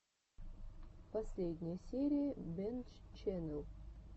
последняя серия бэнччэннел